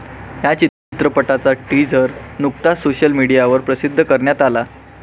ह्या चित्रपटाचा टीझर नुकताच सोशल मीडियावर प्रसिद्ध करण्यात आला.